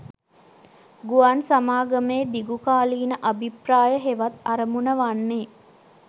ගුවන් සමාගමේ දිගුකාලීන අභිප්‍රාය හෙවත් අරමුණ වන්නේ